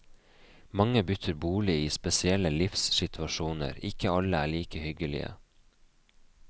Mange bytter bolig i spesielle livssituasjoner, ikke alle er like hyggelige.